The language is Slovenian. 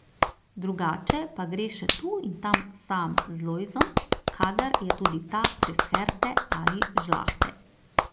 Drugače pa gre še tu in tam sam z Lojzom, kadar je tudi ta brez Herte ali žlahte.